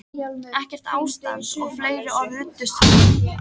Ekkert ástand, og fleiri orð ruddust fram.